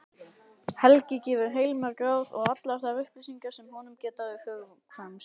Helgi gefur heilmörg ráð og allar þær upplýsingar sem honum geta hugkvæmst.